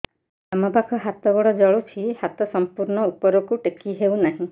ବାମପାଖ ହାତ ଗୋଡ଼ ଜଳୁଛି ହାତ ସଂପୂର୍ଣ୍ଣ ଉପରକୁ ଟେକି ହେଉନାହିଁ